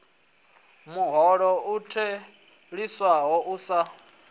muholo u theliswaho u sa